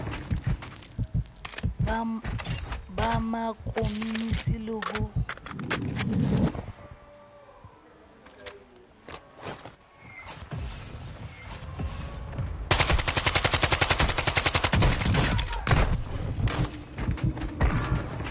ba ma komonisi le ho